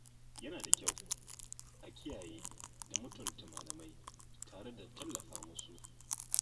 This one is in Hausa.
Yana da kyau a kiyaye da mutunta malamai tare da tallafa musu